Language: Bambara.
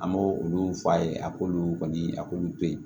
An b'o olu f'a ye a k'olu kɔni a k'olu to yen